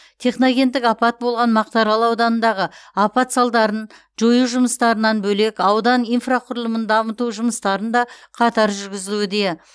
техногендік апат болған мақтааарал ауданындағы апат салдарын жою жұмыстарынан бөлек аудан инфрақұрылымын дамыту жұмыстарын да қатар жүргізілуде